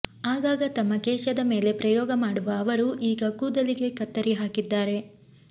ಆಗಾಗ ತಮ್ಮ ಕೇಶದ ಮೇಲೆ ಪ್ರಯೋಗ ಮಾಡುವ ಅವರು ಈಗ ಕೂದಲಿಗೆ ಕತ್ತರಿ ಹಾಕಿದ್ದಾರೆ